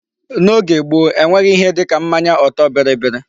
N'oge gboo, e nweghị ihe dịka mmanya ọtọ bịrịbịrị.